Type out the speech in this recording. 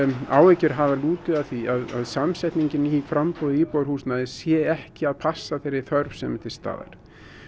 áhyggjur hafa lútið að því að samsetning i framboði á íbúðarhúsnæði sé ekki að passa fyrir þá þörf sem er til staðar